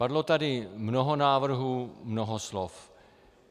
Padlo tady mnoho návrhů, mnoho slov.